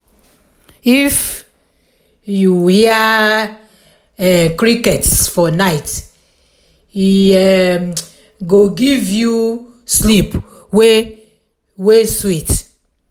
if um you hear um crickets for night e um go give you sleep wey wey sweet.